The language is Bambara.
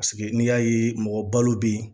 Paseke n'i y'a ye mɔgɔbalo bɛ yen